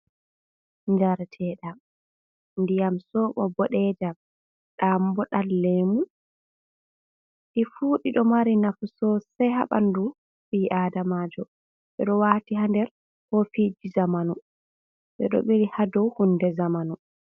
Njareteɗam, ndiyam soɓo boɗeejam, ɗam bo ɗan lemu. Ɗi fu ɗiɗi ɗo mari nafu sosai haa ɓandu ɓii aadamaajo, ɓe ɗo waati haa nder kofiji zamanu, ɓe ɗo ɓili haa dou hunde zamanu.